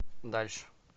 дальше